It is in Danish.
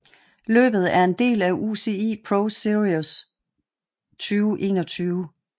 Løbet er en del af UCI ProSeries 2021